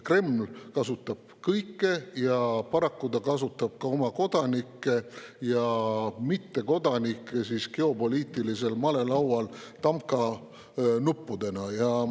Kreml kasutab kõike ja paraku kasutab ta ka oma kodanikke ja mittekodanikke geopoliitilisel malelaual tamkanuppudena.